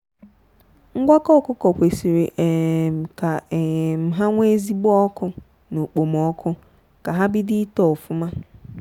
ngwakọ ọkụkọ kwesịrị um ka um ha nwee ezigbo ọkụ na okpomọkụ ka ha bido ito ofụma.